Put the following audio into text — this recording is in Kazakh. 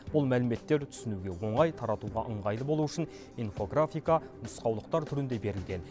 бұл мәліметтер түсінуге оңай таратуға ыңғайлы болуы үшін инфографика нұсқаулықтар түрінде берілген